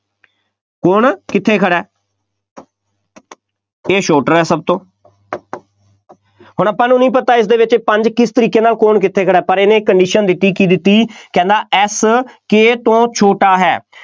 ਕੌਣ ਕਿੱਥੇ ਖੜ੍ਹਾ K ਛੋਟਾ ਹੈ ਸਭ ਤੋਂ ਹੁਣ ਆਪਾਂ ਨੂੰ ਪਤਾ ਇਸ ਵਿੱਚ ਪੰਜ ਕਿਸ ਤਰੀਕੇ ਨਾਲ ਕੌਣ ਕਿੱਥੇ ਖੜ੍ਹਾ ਹੈ, ਪਰ ਇਹਨੇ condition ਦਿੱਤੀ, ਕੀ ਦਿੱਤੀ, ਕਹਿੰਦਾ F K ਤੋਂ ਛੋਟਾ ਹੈ,